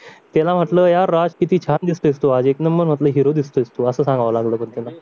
त्याला म्हटलं यार राज किती छान दिसतोयस तू आज एक नंबर म्हटलं हिरो दिसतोय असं सांगावं लागलं पण त्याला